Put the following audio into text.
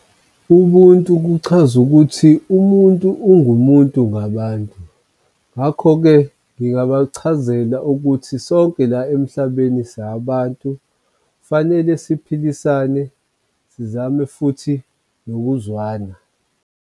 Ubuntu kuchaza ukuthi umuntu ungumuntu ngabantu, ngakho-ke ngingabachazela ukuthi sonke la emhlabeni sabantu fanele siphilisane, sizame futhi nokuzwana.